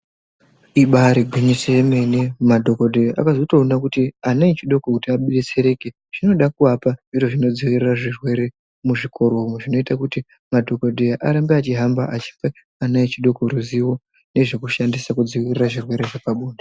Ibaari gwinyiso yemene madhokodheya akatozoona kuti ana echidoko kuti abetsereke, zvinoda kuapa zviro zvinodzivirira zvirwere muzvikoro umo. Zvinoita kuti madhokodheya arambe achihamba achipa ana echidoko ruzivo nezve kushandisa kudzivirira zvirwere zvepabonde.